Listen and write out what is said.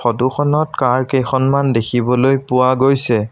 ফটোখনত কাৰ কেইখনমান দেখিবলৈ পোৱা গৈছে।